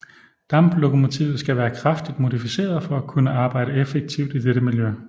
Damplokomotivet skal være kraftigt modificeret for at kunne arbejde effektivt i dette miljø